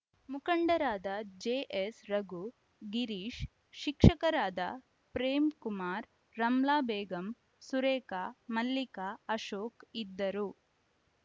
ಮುಖಂಡರಾದ ಜೆಎಸ್‌ರಘು ಗಿರೀಶ್‌ ಶಿಕ್ಷಕರಾದ ಪ್ರೇಮ್‌ ಕುಮಾರ್‌ ರಮ್ಲಾ ಬೇಗಂ ಸುರೇಖಾ ಮಲ್ಲಿಕಾ ಅಶೋಕ್‌ ಇದ್ದರು